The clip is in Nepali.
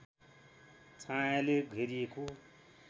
छायाँले घेरिएको